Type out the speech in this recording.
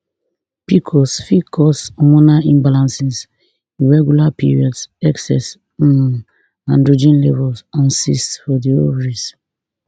pcos fit cause hormonal imbalances irregular periods excess um androgen levels and cysts for di ovaries